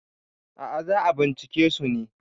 a ' a za a bincike su ne